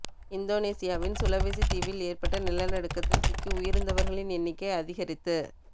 இந்தோனேசியாவின் சுலவெசி தீவில் ஏற்பட்ட நிலநடுக்கத்தில் சிக்கி உயிரிழந்தவர்களின் எண்ணிக்கை அதிகரித்து